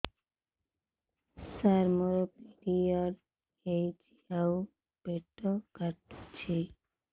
ସାର ମୋର ପିରିଅଡ଼ ହେଇଚି ଆଉ ପେଟ କାଟୁଛି